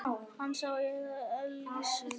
Hann sá aðeins Elísu.